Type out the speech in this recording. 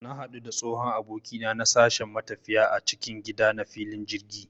Na hadu da tsohon abokina na a sashen matafiya na cikin gida a filin jirgi